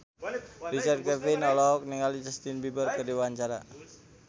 Richard Kevin olohok ningali Justin Beiber keur diwawancara